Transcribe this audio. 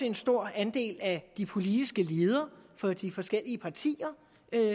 en stor andel af de politiske ledere fra de forskellige partier